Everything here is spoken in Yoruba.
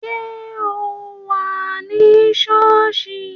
Ṣé o wà ní sọ́ọ̀sì?